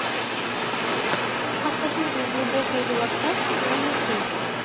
академия глубокой релаксации на ютуб